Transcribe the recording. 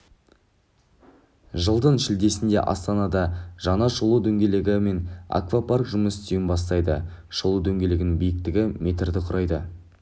жылдың шілдесінде астанада жаңа шолу дөңгелегі мен аквапарк жұмыс істеуін бастайды шолу дөңгелегінің биіктігі метрді құрайды